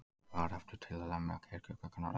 Barefli til að lemja kirkjuklukkurnar utan.